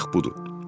Bax budur.